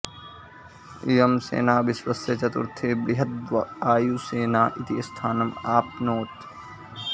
इयं सेना विश्वस्य चतुर्थी बृहद्वायुसेना इति स्थानम् आप्नोत्